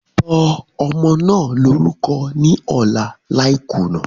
Sọ ọmọ naa lorukọ ni ọla lai kuna!